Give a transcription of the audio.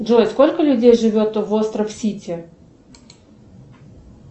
джой сколько людей живет в остров сити